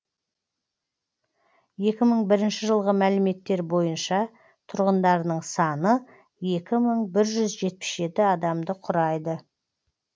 екі мың бірінші жылғы мәліметтер бойынша тұрғындарының саны екі мың бір жүз жетпіс жеті адамды құрайды